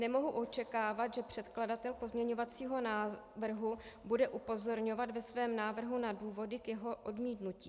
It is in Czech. Nemohu očekávat, že předkladatel pozměňovacího návrhu bude upozorňovat ve svém návrhu na důvody k jeho odmítnutí.